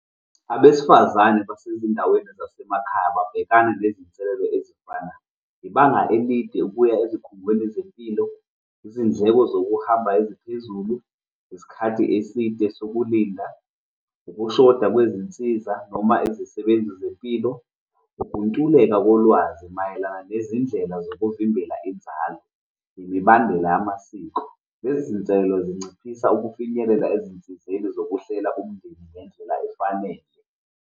Abesifazane basezindaweni zasemakhaya babhekana nezinselelo ezifana, ibanga elide ukuya ezikhungweni zezempilo, izindleko zokuhamba eziphezulu, isikhathi eside sokulinda, ukushoda kwezinsiza noma izisebenzi zempilo, ukuntuleka kolwazi mayelana nezindlela zokuvimbela inzalo, nemibandela yamasiko. Lezi zinselelo zinciphisa ukufinyelela ezinsizeni zokuhlela umndeni ngendlela efanele.